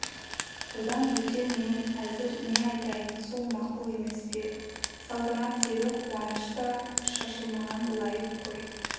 одан бөтен мен әзір не айтайын сол мақұл емес пе салтанат деді қуанышта шашылмаған лайық қой